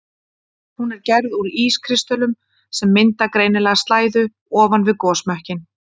Hún er gerð úr ískristöllum sem mynda greinilega slæðu ofan við gosmökkinn.